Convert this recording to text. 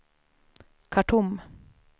Khartoum